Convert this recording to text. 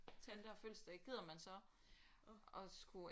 Tante har fødselsdag gider man så at skulle